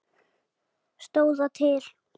Stóð það til?